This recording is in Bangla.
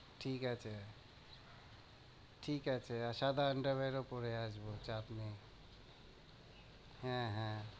ঠিক আছে ঠিক আছে, আর সাদা under wear ও পরে আসবো চাপ নেই হ্যাঁ হ্যাঁ।